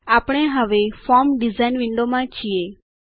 આપણે હવે form design વિન્ડોમાં છીએ